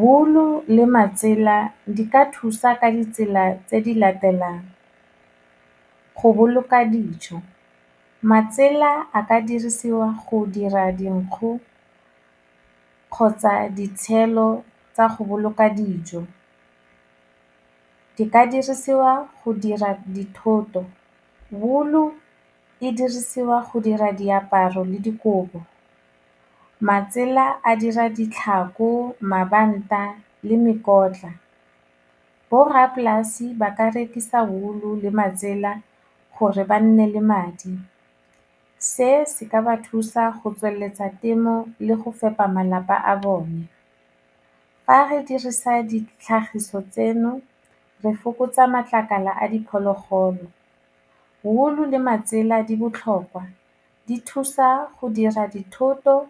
Wool-o le matsela di ka thusa ka ditsela tse di latelang, go boloka dijo, matsela a ka dirisiwa go dira dinkgu kgotsa ditshelo tsa go boloka dijo, di ka dirisiwa go dira dithoto, wool-o e dirisiwa go dira diaparo le dikobo, matsela a dira ditlhako, mabanta le mekotla, borrapolasi ba ka rekisa wool-o le matsela gore ba nne le madi, se se ka ba thusa go tsweletsa temo le go fepa malapa a bone, fa re dirisa ditlhagiso tseno re fokotsa matlakala a diphologolo, wool-o le matsela di botlhokwa, di thusa go dira dithoto,